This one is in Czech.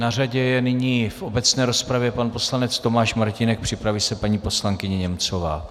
Na řadě je nyní v obecné rozpravě pan poslanec Tomáš Martínek, připraví se paní poslankyně Němcová.